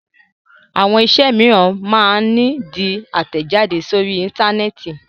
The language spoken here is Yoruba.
Àwọn iṣẹ́ mìíràn máa ń di àtẹ̀jáde sórí Íńtánẹ́ẹ̀tì.